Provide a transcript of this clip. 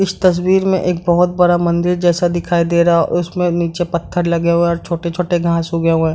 इस तस्वीर में एक बहोत बड़ा मंदिर जैसा दिखाई दे रहा है उसमें नीचे पत्थर लगे हुए और छोटे-छोटे घांस उगे हुए।